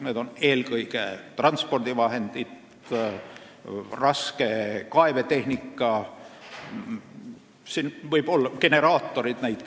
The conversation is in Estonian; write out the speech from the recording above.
Need on eelkõige transpordivahendid, raske kaevetehnika, generaatorid.